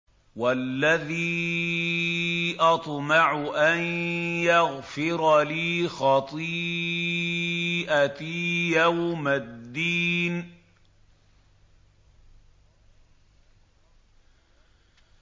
وَالَّذِي أَطْمَعُ أَن يَغْفِرَ لِي خَطِيئَتِي يَوْمَ الدِّينِ